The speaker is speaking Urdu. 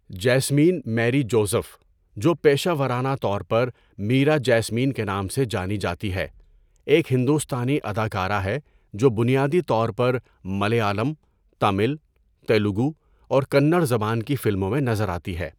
جیسمین میری جوزف، جو پیشہ ورانہ طور پر میرا جیسمین کے نام سے جانی جاتی ہے، ایک ہندوستانی اداکارہ ہے جو بنیادی طور پر ملیالم، تامل، تیلگو اور کنڑ زبان کی فلموں میں نظر آتی ہے۔